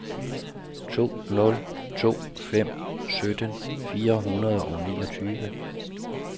to nul to fem sytten fire hundrede og niogtyve